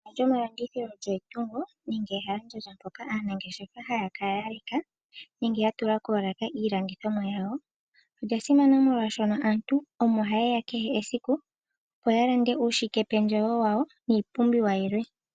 Ehala lyomalandithilo olyo etungo nenge ehalandjandja moka aanangeshefa haa kala ya leka nenge ya tula koolaka iilandithomwa yawo. Olya simana oshoka aantu omo haye ya kehe esiku, opo ya lande uushikependjewo wawo niipumbiwa yilwe.